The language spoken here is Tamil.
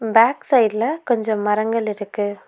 பேக் சைடுல கொஞ்சம் மரங்கள் இருக்கு.